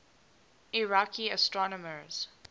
iraqi astronomers